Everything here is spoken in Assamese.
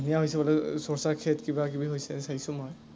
ধুনীয়া হৈছে বোধ হয়, সৰচা খেত কিবা কিবি হৈছে, চাইছো মই।